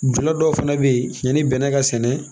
dɔw fana bɛ yen ani bɛnɛ ka sɛnɛ